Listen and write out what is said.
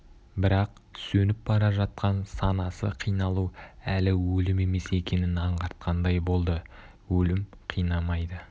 бірақ сөніп бара жатқан санасы қиналу әлі өлім емес екенін аңғартқандай болды өлім қинамайды